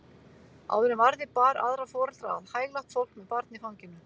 Áður en varði bar aðra foreldra að, hæglátt fólk með barn í fanginu.